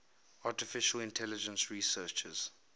artificial intelligence researchers